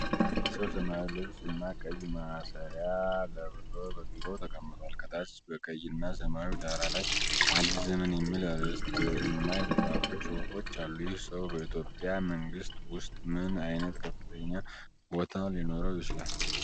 አንድ ሰው ሰማያዊ ልብስ እና ቀይ ማሰሪያ ለብሶ በቢሮው ተቀምጧል። ከታች በቀይ እና ሰማያዊ ዳራ ላይ "አዲስ ዘመን" የሚል አርዕስት እና የተጻፉ ጽሑፎች አሉ። ይህ ሰው በኢትዮጵያ መንግሥት ውስጥ ምን አይነት ከፍተኛ ቦታ ሊኖረው ይችላል?